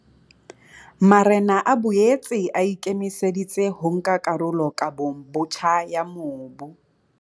Marena a boetse a ikemise ditse ho nka karolo kabong botjha ya mobu.